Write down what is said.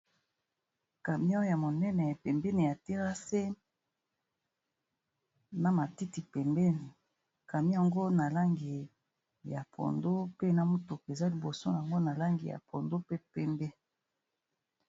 Camion ya monene pembeni ya terrase, na matiti pembeni. Camion yango na langi ya pondu, pe na motuka eza liboso nango na langi ya pondu, pe pembe.